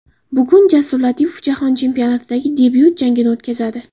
Bugun Jasur Latipov Jahon chempionatidagi debyut jangini o‘tkazadi.